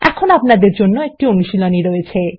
এখানে আপনাদের জন্য একটি অনুশীলনী রয়েছে